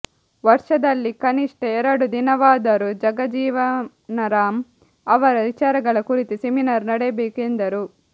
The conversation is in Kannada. ವರ್ಷದಲ್ಲಿ ಕನಿಷ್ಠ ಎರಡು ದಿನವಾದರೂ ಜಗಜೀವನರಾಮ್ ಅವರ ವಿಚಾರಗಳ ಕುರಿತು ಸೆಮಿನಾರ್ ನಡೆಯಬೇಕು ಎಂದರು